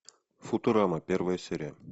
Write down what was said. футурама первая серия